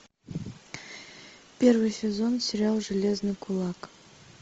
первый сезон сериал железный кулак